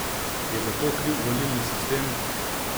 Je za to kriv volilni sistem?